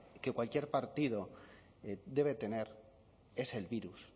que cualquier partido debe tener es el virus